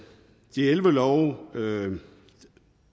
de elleve love